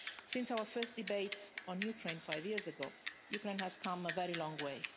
Since our first debate on Ukraine five years ago, Ukraine has come a very long way.